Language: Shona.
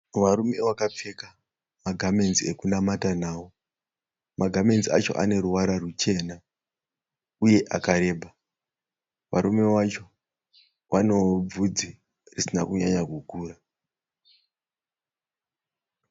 Varume vakapfeka magamenzi ekunamata nawo. Magamenzi acho ane ruvara ruchena uye akareba. Varume vacho vanewo bvudzi risina kunyanya kukura.